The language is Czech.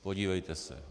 Podívejte se.